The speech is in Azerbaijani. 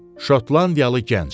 Şotlandiyalı gənc.